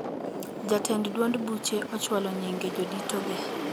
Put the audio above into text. Jotend duond buche ochwalo nyinge jodito ge